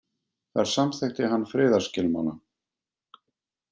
Þar samþykkti hann friðarskilmála.